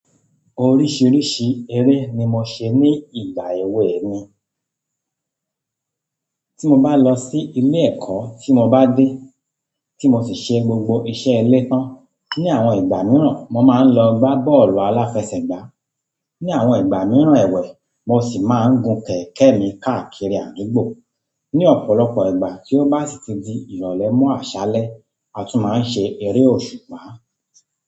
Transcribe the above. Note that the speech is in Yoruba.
Oríṣiríṣi eré ni mo ṣe ní ìgbà èwe mi. Tí mo bá lọ sí ilé ẹ̀kọ́ tí mo bá dé, tí mo sì ṣe gbogbo iṣẹ́ ilé tán, ní àwọn ìgbà mìíràn mo máa ń lọ gbá bọ́ọ̀lù aláfẹsẹ̀gbá. Ní àwọn ìgbà mìíràn èwẹ̀, mo sì máa ń gun kẹ̀kẹ́ mi káàkiri àdúgbò. Ni ọ̀pọ̀lọpọ̀ ìgbà tí ó bá sì ti di ìrọ̀lẹ́ mọ́ àṣálẹ́, a tún máa ń ṣe eré òṣùpá.